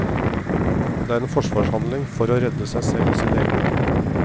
Det er en forsvarshandling for å redde seg selv og sine egne.